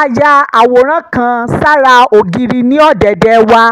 a ya àwòrán kan sára ògiri ní ọ̀dẹ̀dẹ̀ wa